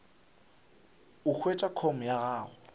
o hwetše com ya gago